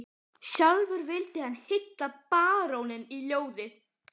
Sjálfur vildi hann hylla baróninn í ljóði